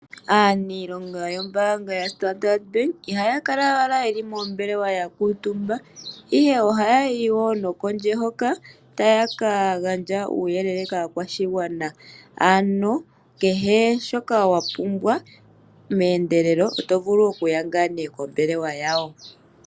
Aaniilonga yombaanga yoStandard ihaya kala owala yeli moombelewa ya kuutumba, ihe ohayayi kondje hoka ta ya ka gandja uuyelele kaakwashigwana ano kehe shoka wapumbwa meendelelo otovulu okuya kombela yawo.